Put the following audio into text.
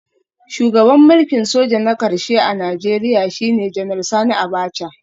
Shugaban mulkin soja na karshe a Najeriya shine Janar Sani Abacha